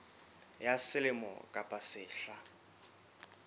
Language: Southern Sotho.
ya selemo kapa ya sehla